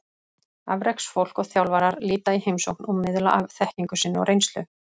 Afreksfólk og þjálfarar líta í heimsókn og miðla af þekkingu sinni og reynslu.